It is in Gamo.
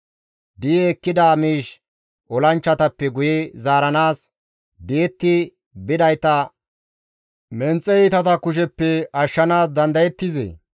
Di7i ekkida miish olanchchatappe guye zaaranaas, di7etti bidayta menxe iitata kusheppe ashshanaas dandayettizee?